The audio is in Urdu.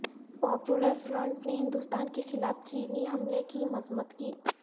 پاپولر فرنٹ نے ہندوستان کے خلاف چینی حملے کی مذمت کی